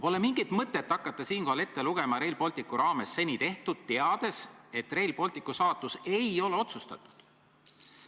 Pole mingit mõtet hakata siinkohal ette lugema seni Rail Balticu raames tehtut, teades, et Rail Balticu saatus ei ole otsustatud.